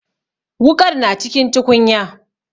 Wuƙar na cikin tukunya.